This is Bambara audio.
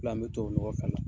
An be tubabu nɔgɔ fa